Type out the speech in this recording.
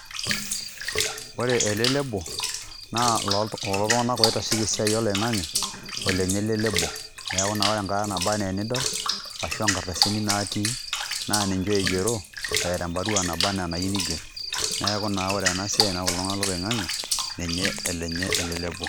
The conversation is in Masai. Ore ele lable naa oloo iltung'anak oitasheki esiai oloing'ang'e olenye ele lable. Neeku naa ore enkata naba naa enidol ashu a nkardasini natii naa ninje oigero eeta embarua naba naa enayu niger. Neeku naa ore ena siai nai kulo tung'anak loloing'ang'e olenye ele lable.